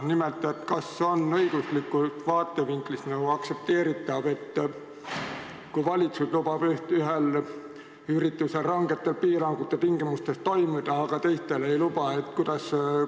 Nimelt, kas õiguslikust vaatevinklist on aktsepteeritav, kui valitsus lubab ühel üritusel rangete piirangute tingimustes toimuda, aga teistel ei luba?